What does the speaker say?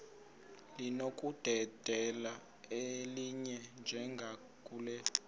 linokudedela elinye njengakule